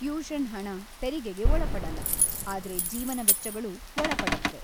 Tuition ಹಣ ತೆರಿಗೆಗೆ ಒಳಪಡಲ್ಲ, ಆದ್ರೆ ಜೀವನ ವೆಚ್ಚಗಳು ಒಳಪಡತ್ವೆ.